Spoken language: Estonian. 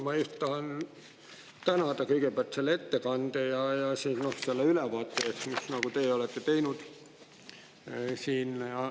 Ma tahan kõigepealt tänada ettekande ja selle ülevaate eest, mis te olete siin teinud.